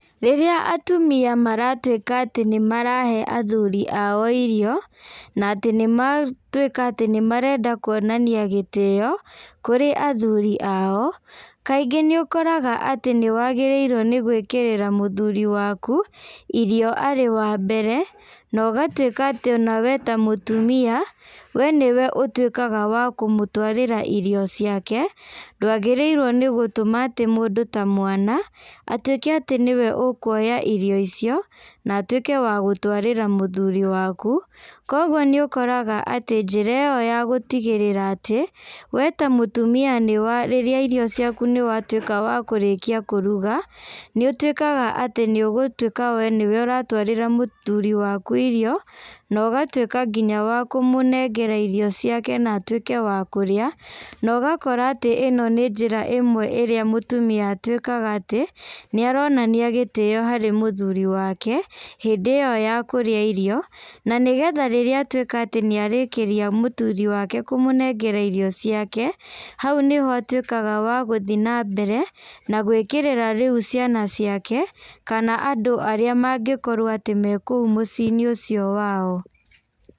Rĩrĩa atumia maratuĩka atĩ nĩ marahe athuri ao irio, na atĩ nĩ matuĩka atĩ nĩ marenda kuonania gĩtĩyo kũrĩ athuri ao, kaingĩ nĩ ũkoraga atĩ nĩ wagĩrĩirwo nĩ gũĩkĩrĩra mũthuri waku, irio arĩ wa mbere, na ũgatuĩka atĩ ona we ta mũtumia, we nĩwe ũtuĩkaga wa kũmũtwarĩra irio ciake, ndwagĩrĩirwo nĩ gũtũma atĩ mũndũ ta mwana, atuĩke atĩ nĩwe ekwoya irio icio, na atuĩke wa gũtwarĩra mũthuri waku, kwoguo nĩ ũkoraga atĩ njĩra ĩyo ya gũtigĩrĩra atĩ we ta mũtumia nĩ wa rĩrĩa irio ciaku nĩ watuĩka wa kũrĩkia kũruga, nĩ ũtuĩkaga atĩ nĩ ũgũtuĩka we nĩwe ũratwarĩra mũthuri waku irio, na ũgatuĩka nginya wa kũmũnengera irio ciake na atuĩke wa kũrĩa, na ũgakora atĩ ĩno nĩ njĩra ĩmwe ĩrĩa mũtumia atuĩkaga atĩ, nĩ aronania gĩtĩyo harĩ mũthuri wake, hĩndĩ ĩyo ya kũrĩa irio, na nĩ getha rĩrĩa atuĩka nĩ arĩkĩria mũthuri wake kũmũnengera irio ciake, hau nĩho atuĩkaga wa gũthiĩ na mbere, na gwĩkĩrĩra rĩu ciana ciake, kana andũ arĩa mangĩkorwo atĩ me kũu mũciĩ-inĩ ũcio wao.